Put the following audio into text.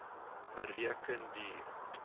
bereken dier